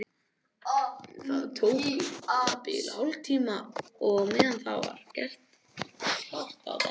Það tók um það bil hálftíma og á meðan var allt gert klárt á dekki.